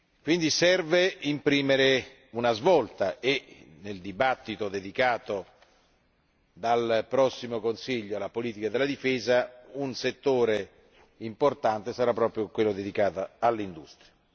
È quindi necessario imprimere una svolta e, nella discussione dedicata dal prossimo Consiglio alla politica di difesa, un settore importante sarà proprio quello dedicato all'industria.